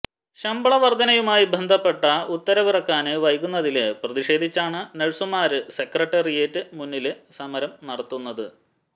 ശമ്പള വര്ധനയുമായി ബന്ധപ്പെട്ട് ഉത്തരവിറക്കാന് വൈകുന്നതില് പ്രതിഷേധിച്ചാണ് നഴ്സുമാര് സെക്രട്ടേറിയറ്റിന് മുന്നില് സമരം നടത്തുന്നത്